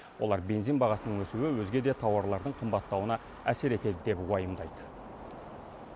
олар бензин бағасының өсуі өзге де тауарлардың қымбаттауына әсер етеді деп уайымдайды